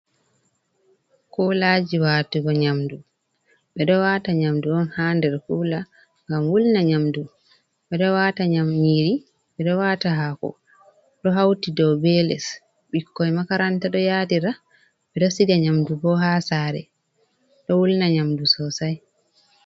kuulaji watugo nyamdu. Ɓe ɗo wata nyamdu on ha nder kula ngam wulna nyamdu, ɓe ɗo wata nyam nyiri, ɓe ɗo wata hako, ɗo hauti do be less, bikkoi makaranta ɗo yaadira, ɓe ɗo siga nyamdu bo haa saare ɗo wulna nyamdu sosai.